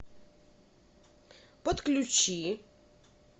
подключи